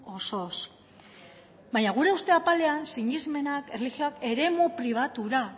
osoz baina gure uste apalean sinesmenak erlijioak eremu pribatura